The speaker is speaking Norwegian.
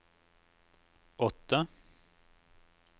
åtte